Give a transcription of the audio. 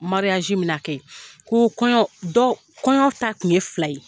min be na kɛ yen, ko kɔɲɔ, dɔ , kɔɲɔ ta kun ye fila ye.